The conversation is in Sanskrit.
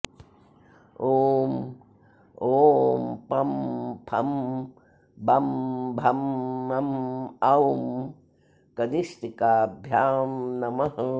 ॐ ओं पं फं बं भं मं औं कनिष्ठिकाभ्यां नमः